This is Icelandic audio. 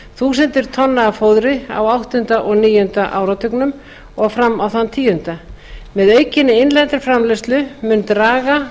tonna af fóðri á áttunda og níunda áratugnum og fram á þann tíunda með aukinni innlendri framleiðslu mun draga